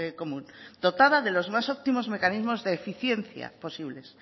común dotada de los más óptimos mecanismos de eficiencia posibles